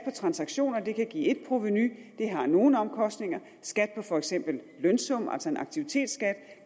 transaktioner kan give ét provenu det har nogle omkostninger skat på for eksempel lønsum altså en aktivitetsskat